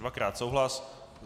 Dvakrát souhlas.